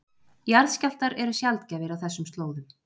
Jarðskjálftar eru sjaldgæfir á þessum slóðum